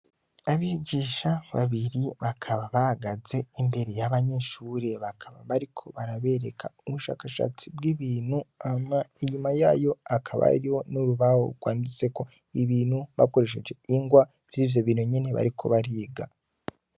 Abijisha babiri bakaba bagaze imbere y'abanyeshure bakaba bariko barabereka ubushakashatsi bw'ibintu ama inyuma yayo akaba riho n'urubaho rwanditseko ibintu bakoresheje ingwa vyoivyo bintu nyene bariko bariga.